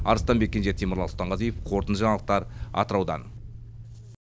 арыстанбек кенже темірлан сұлтанғазиев қорытынды жаңалықтар атыраудан